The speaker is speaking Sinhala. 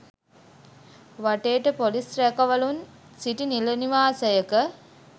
වටේට පොලිස් රැකවලුන් සිටි නිල නිවාසයක.